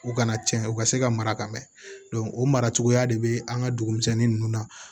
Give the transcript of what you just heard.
U kana cɛn u ka se ka mara ka mɛn o mara cogoya de bɛ an ka dugu misɛnnin ninnu na